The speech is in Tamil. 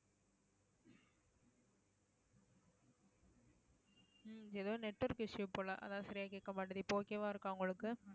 ஹம் ஏதோ network issue போல அதான் சரியா கேக்க மாட்டேங்குது இப்ப okay வா இருக்கா உங்களுக்கு